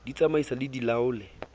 di tsamaise di di laole